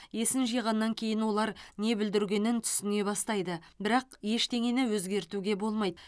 есін жиғаннан кейін олар не бүлдіргенін түсіне бастайды бірақ ештеңені өзгертуге болмайды